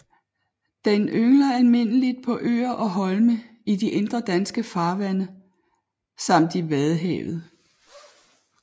Den yngler almindeligt på øer og holme i de indre danske farvande samt i Vadehavet